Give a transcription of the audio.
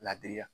Ladiri la